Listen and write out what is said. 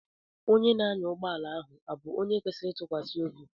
Onye na-anya ụgbọala ahụ abụ onye kwesịrị ịtụkwasị obi?